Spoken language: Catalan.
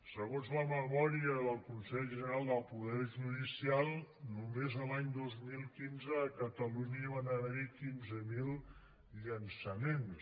segons la memòria del consell general del poder judicial només l’any dos mil quinze a catalunya hi van haver quinze mil llançaments